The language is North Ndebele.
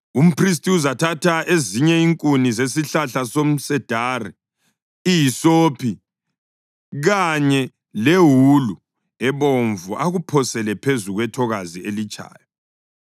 Umphristi uzathatha ezinye inkuni zesihlahla somsedari, ihisophi kanye lewulu ebomvu akuphosele phezu kwethokazi elitshayo.